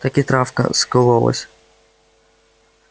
так и травка скололась